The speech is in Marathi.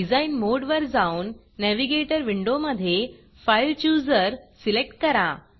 डिझाईन मोडवर जाऊन Navigatorनॅविगेटर विंडोमधे fileChooserफाइल चुजर सिलेक्ट करा